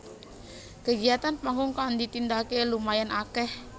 Kegiatan panggung kang ditindakake lumayan akeh